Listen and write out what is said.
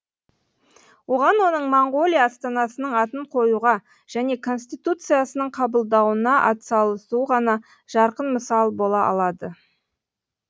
оған оның моңғолия астанасының атын қоюға және конституциясының қабылдануына атсалуы ғана жарқын мысал бола алады